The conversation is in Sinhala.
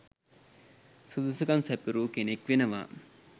සුදුසුකම් සැපිරූ කෙනෙක් වෙනවා